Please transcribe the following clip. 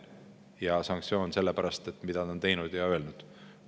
Ja sanktsioonid selle pärast, mida ta on teinud ja öelnud.